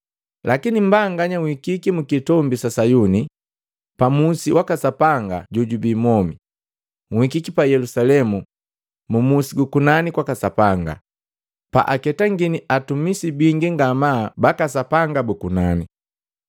Lakini mbanganya nhikiki mu kitombi sa Sayuni, pa musi waka Sapanga jojubi mwomi, nhikiki pa Yelusalemu, mu musi gu kunani kwaka Sapanga, pa aketangini atumisi bingi ngama baka Sapanga bu kunani.